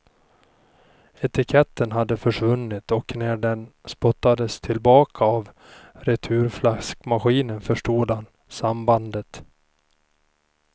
Etiketten hade försvunnit och när den spottades tillbaka av returflaskmaskinen förstod han sambandet.